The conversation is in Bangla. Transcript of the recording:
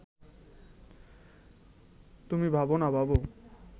তুমি ভাব না ভাব